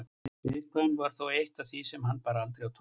Viðkvæmnin var þó eitt af því sem hann bar aldrei á torg.